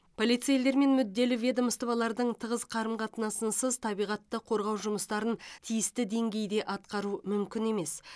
полицейлер мен мүдделі ведомстволардың тығыз қарым қатынасынсыз табиғатты қорғау жұмыстарын тиісті деңгейде атқару мүмкін емес